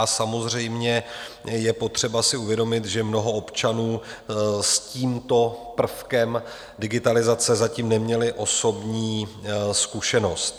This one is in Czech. A samozřejmě je potřeba si uvědomit, že mnoho občanů s tímto prvkem digitalizace zatím nemělo osobní zkušenost.